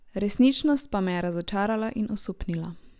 Resničnost pa me je razočarala in osupnila.